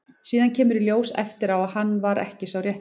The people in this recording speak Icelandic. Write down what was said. Síðan kemur í ljós eftir á að hann var ekki sá rétti.